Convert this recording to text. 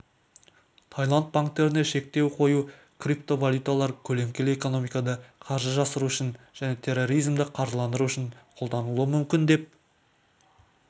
тайланд банктеріне шектеу қою криптовалюталар көлеңкелі экономикада қаржы жасыру үшін және терроризмді қаржыландыру үшін қолданылуы мүмкін деп